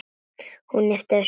Hún ypptir öxlum.